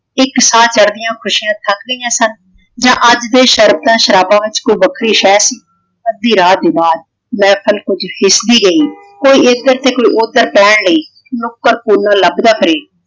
ਇਕ ਸਾਹ ਚੜਦੀਆਂ ਖੁਸ਼ੀਆਂ ਥੱਕ ਗਈਆਂ ਸਨ ਜਾਂ ਅੱਜ ਇਹ ਸ਼ਰਤਾਂ ਸ਼ਰਾਬਾਂ ਵਿੱਚ ਕੋਈ ਵੱਖਰੀ ਸ਼ਹਿ ਸੀ। ਅੱਧੀ ਰਾਤ ਤੋਂ ਬਾਅਦ ਮਹਿਫਲ ਕੁਝ ਸਿਸ਼ਕਦੀ ਗਈ। ਕੋਈ ਇਧਰ ਤੇ ਕੋਈ ਓਧਰ ਪੈਣ ਲਈ ਨੁਕਰ ਕੋਨਾ ਲੱਭਦਾ ਫਿਰੇ।